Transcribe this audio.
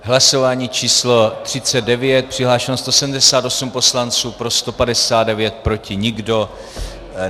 Hlasování číslo 39, přihlášeno 178 poslanců, pro 159, proti nikdo.